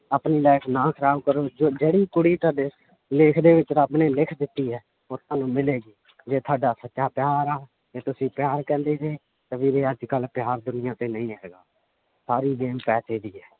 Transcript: ਆਪਣੀ life ਨਾ ਖ਼ਰਾਬ ਕਰੋ ਜੋ ਜਿਹੜੀ ਕੁੜੀ ਤੁਹਾਡੇ ਲੇਖ ਦੇ ਵਿੱਚ ਰੱਬ ਨੇ ਲਿਖ ਦਿੱਤੀ ਹੈ ਉਹ ਤੁਹਾਨੂੰ ਮਿਲੇਗੀ ਜੇ ਤੁਹਾਡਾ ਸੱਚਾ ਪਿਆਰ ਆ ਤੁਸੀਂ ਪਿਆਰ ਕਹਿੰਦੇ ਜੇ ਤਾਂ ਵੀਰੇ ਅੱਜ ਕੱਲ੍ਹ ਪਿਆਰ ਦੁਨੀਆਂ ਤੇ ਨਹੀਂ ਹੈਗਾ ਸਾਰੀ game ਪੈਸੇ ਦੀ ਹੈ l